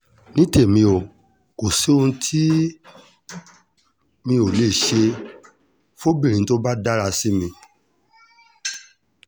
ní tèmi o kò sóhun tí mi ò lè ṣe fọ́bìnrin tó bá dáa sí mi